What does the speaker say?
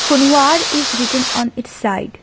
Kunwar is written on its side.